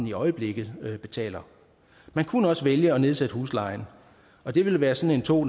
i øjeblikket betaler man kunne også vælge at nedsætte huslejen og det ville være sådan to